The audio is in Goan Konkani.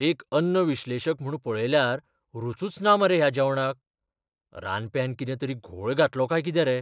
एक अन्न विश्लेशक म्हूण पळयल्यार रूचूच ना मरे ह्या जेवणाक. रांदप्यान कितें तरी घोळ घातलो काय कितें रे?